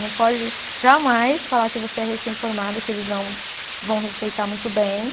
Não pode jamais falar que você é recém-formada, que eles não vão respeitar muito bem.